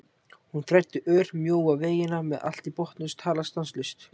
Hún þræddi ör- mjóa vegina með allt í botni og talaði stanslaust.